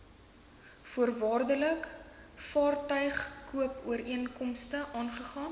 voorwaardelike vaartuigkoopooreenkomste aangegaan